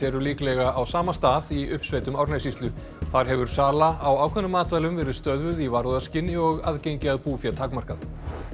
eru líklega á sama stað í uppsveitum Árnessýslu þar hefur sala á ákveðnum matvælum verið stöðvuð í varúðarskyni og aðgengi að búfé takmarkað